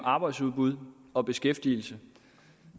arbejdsudbud og beskæftigelse